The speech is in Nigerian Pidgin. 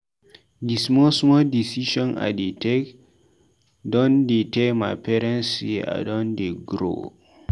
Di small small decision I dey take dondtey tell my parents sey I don dey grow.